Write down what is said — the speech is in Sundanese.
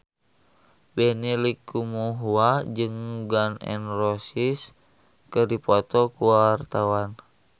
Benny Likumahua jeung Gun N Roses keur dipoto ku wartawan